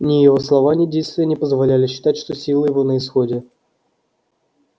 ни его слова ни действия не позволяли считать что силы его на исходе